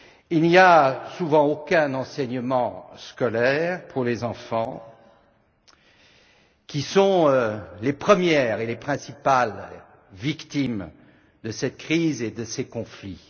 Il n'y a souvent aucun enseignement scolaire pour les enfants qui sont les premières et les principales victimes de cette crise et de ces conflits.